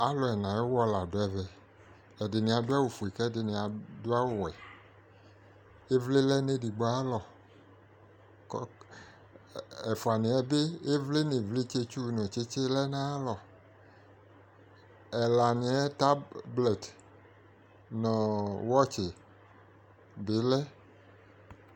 Alu ɛna ayewɔ la do ɛvɛ ko ɛdene ado awuwɛ Evle lɛ no edigbo aye alɔ ko ɛ ɛfuaneɛ be evle no evletsɛtsuu ne lɛ no aye alɔƐlaneɛ taplɛt nɔɔ wɔtse be lɛ